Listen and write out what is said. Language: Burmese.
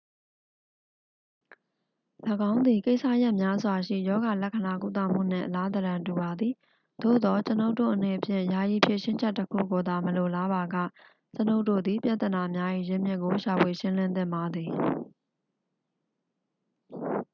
၎င်းသည် ကိစ္စရပ်များစွာရှိ ရောဂါလက္ခဏာကုသမှုနှင့် အလားသဏ္ဍာန်တူပါသည် သို့သော် ကျွန်ုပ်တို့အနေဖြင့် ယာယီဖြေရှင်းချက်တစ်ခုကိုသာ မလိုလားပါက ကျွန်ုပ်တို့သည် ပြဿနာများ၏ ရင်းမြစ်ကို ရှာဖွေ ရှင်းလင်းသင့်ပါသည်